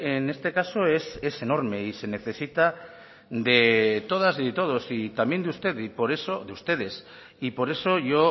en este caso es enorme y se necesita de todas y de todos y también de ustedes por eso yo